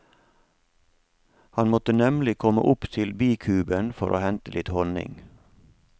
Han måtte nemlig komme opp til bikuben for å hente litt honning.